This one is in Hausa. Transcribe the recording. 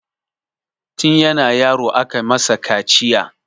Tin yana yaro aka masa kaciya